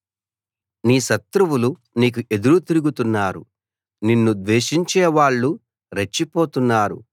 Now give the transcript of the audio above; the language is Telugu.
నీ శత్రువులు నీకు ఎదురు తిరుగుతున్నారు నిన్ను ద్వేషించే వాళ్ళు రెచ్చిపోతున్నారు